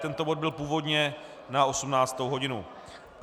Tento bod byl původně na 18. hodinu.